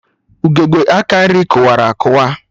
Ugegbe aka nri kụwara akụwa